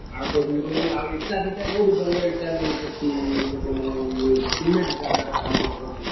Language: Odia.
ଆଉ କହୁଥିଲି କି ଇଟା ଫିଟା କୋଉଠି ଭଲ ଇଟା ମିଳୁଛି ଏଠି ?